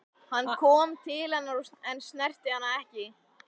Hann kom til hennar en snerti hana ekki.